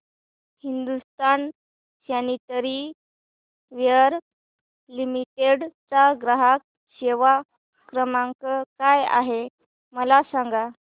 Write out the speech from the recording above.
Hindustan Sanitaryware Limited चा ग्राहक सेवा क्रमांक काय आहे मला सांगा